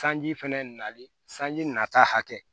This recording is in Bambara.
Sanji fɛnɛ nali sanji nata